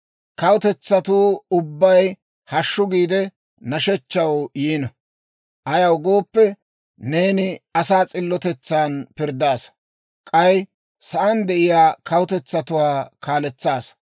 Kawutetsatuu ubbay, «Hashshu!» giide, nashshechchaw yiino. Ayaw gooppe, neeni asaa s'illotetsan pirddaasa; k'ay sa'aan de'iyaa kawutetsatuwaa kaaletsaasa.